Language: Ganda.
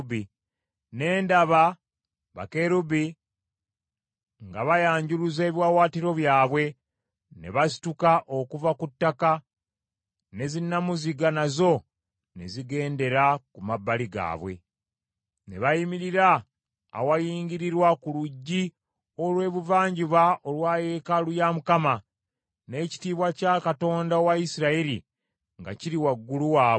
Ne ndaba bakerubi nga bayanjuluza ebiwaawaatiro byabwe, ne basituka okuva ku ttaka, ne zinnamuziga nazo ne zigendera ku mabbali gaabwe. Ne bayimirira awayingirirwa ku luggi olw’ebuvanjuba olwa yeekaalu ya Mukama , n’ekitiibwa kya Katonda owa Isirayiri nga kiri waggulu waabwe.